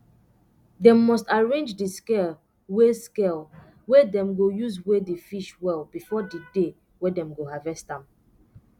dem must arrange d scale wey scale wey dem go use weigh d fish well before d day wey dem go harvest am